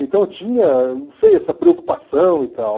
Então tinha, não sei, essa preocupação e tal.